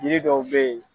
Yiri dɔw be ye